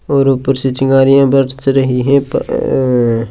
और ऊपर चिंगारिया बरस रही है। --